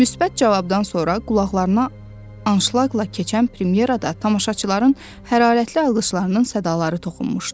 Müsbət cavabdan sonra qulaqlarına anşlaqla keçən premyera da tamaşaçıların hərarətli alqışlarının sədaları toxunmuşdu.